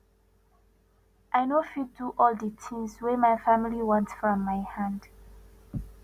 i no fit do all di tins wey my family want from my hand